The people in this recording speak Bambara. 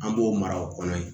An b'o mara o kɔnɔ yen